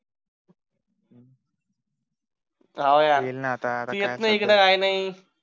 हवं यार तू येत नाही इकडे काही नाही